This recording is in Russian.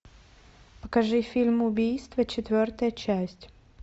покажи фильм убийство четвертая часть